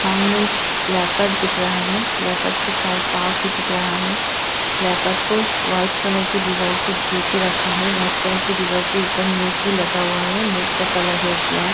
सामने एक लैपट दिख रहा है लैपट के चार पांव भी दिख रहा है लैपट को व्हाइट कलर की दीवाल से घेर के रखा है व्हाइट कलर की दीवाल के ऊपर नेट भी लगा हुआ है नेट का कलर है ब्लैक ।